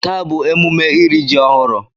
Taa bụ emume iri ji ọhụrụ.